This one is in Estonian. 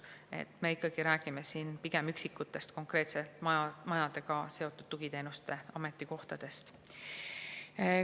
Aga me ikkagi räägime siin pigem üksikutest konkreetse majaga seotud tugiteenuste ametikohtadest.